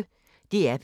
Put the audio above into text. DR P1